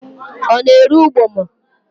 Ọ na-ere ụgbọma?